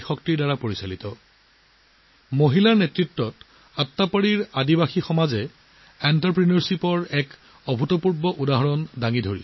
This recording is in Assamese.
নাৰীৰ নেতৃত্বত আট্টাপাডিৰ জনজাতীয় সম্প্ৰদায়ে উদ্যোগীকৰণৰ এক আচৰিত উদাহৰণ দাঙি ধৰিছে